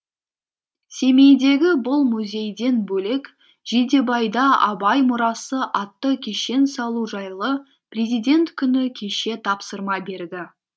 семейдегі бұл музейден бөлек жидебайда абай мұрасы атты кешен салу жайлы президент күні кеше тапсырма берді